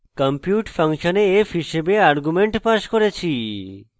compute ফাংশনে f হিসাবে argument passed করেছি